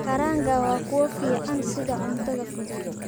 Kaaranga waa kuwo fiican sida cunto fudud.